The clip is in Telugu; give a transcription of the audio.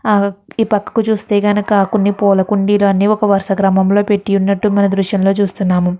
ఆ ఈ పక్కకు చుస్తే గనక కొన్ని పూల కుండీలు అన్ని ఒక వరుస క్రమంలో పెట్టి ఉన్నట్టు మన దృశ్యంలో చూస్తున్నాము.